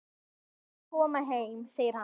Við skulum koma heim, segir hann.